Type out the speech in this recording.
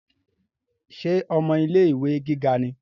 Ṣe ọmọ ilé-ìwé gíga ni?